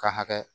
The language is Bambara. Ka hakɛ